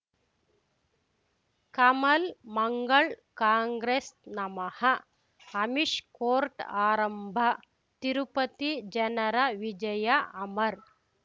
ಕಮಲ್ ಮಂಗಳ್ ಕಾಂಗ್ರೆಸ್ ನಮಃ ಅಮಿಷ್ ಕೋರ್ಟ್ ಆರಂಭ ತಿರುಪತಿ ಜನರ ವಿಜಯ ಅಮರ್